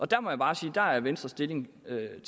der må jeg bare sige at at venstres stillingtagen